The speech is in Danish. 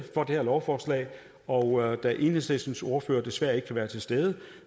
for det her lovforslag og da enhedslistens ordfører desværre ikke kan være til stede